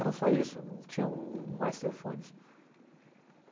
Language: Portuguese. Era só isso, não tinham mais telefones.